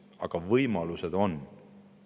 Igal juhul võimalused on olemas.